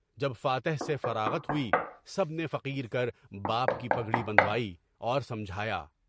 جب فاتح سے فراعت ہوئی، سب نے فقیر کر باپ کی پگڑی بندھوائی، اور سمجھایا۔